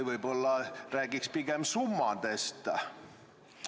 Võib-olla räägiks pigem summadest?